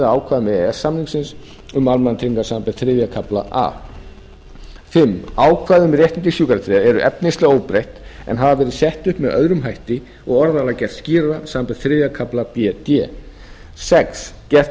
e s samningsins um almannatryggingar samanber þriðja kafla a fimmta ákvæði um réttindi sjúkratryggðra eru efnislega óbreytt en hafa verið sett upp með öðrum hætti og orðalag gert skýrara samanber þriðja kafla b til d sjötta gert er ráð fyrir að